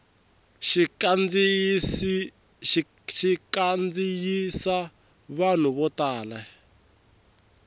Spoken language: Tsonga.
xi kandziyisa vanhu vo tala